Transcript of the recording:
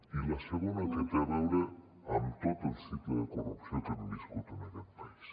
i la segona que té a veure amb tot el cicle de corrupció que hem viscut en aquest país